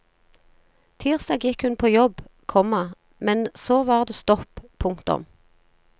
Tirsdag gikk hun på jobb, komma men så var det stopp. punktum